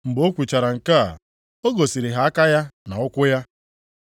Mgbe o kwuchara nke a, o gosiri ha aka ya na ụkwụ ya.